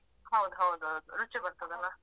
ಹೌದು ಹೌದು ಹೌದು ರುಚಿ ಬರ್ತದಲ್ಲಾ.